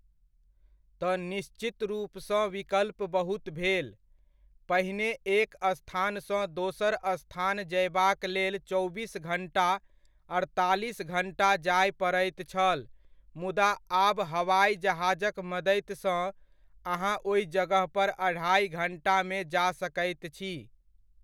तऽ निश्चित रूपसँ विकल्प बहुत भेल, पहिने एक स्थानसँ दोसर स्थान जायबाकलेल चौबीस घण्टा, अड़तालीस घण्टा जाय पड़ैत छल मुदा आब हवाइ जहाजक मदतिसँ अहाँ ओहि जगहपर अढ़ाइ घण्टामे जा सकैत छी।